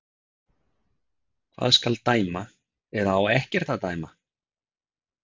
Hvað skal dæma, eða á ekkert að dæma?